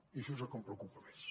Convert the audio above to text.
i això és el que em preocupa més